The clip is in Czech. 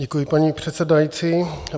Děkuji, paní předsedající.